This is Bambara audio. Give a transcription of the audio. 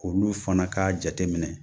Olu fana k'a jate minɛ